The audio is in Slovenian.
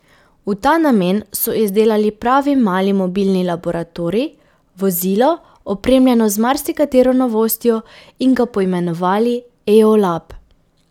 V ta namen so izdelali pravi mali mobilni laboratorij, vozilo, opremljeno z marsikatero novostjo, in ga poimenovali eolab.